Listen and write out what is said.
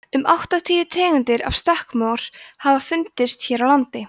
um áttatíu tegundir af stökkmor hafa fundist hér á landi